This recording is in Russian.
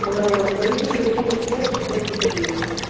аа барышникова семьдесят пять четвёртый подъезд